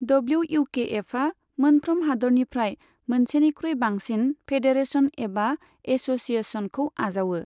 डब्ल्युइउकेएफआ मोनफ्रोम हादोरनिफ्राय मोनसेनिख्रुइ बांसिन फेडरेशन एबा एस'सिएशनखौ आजावो।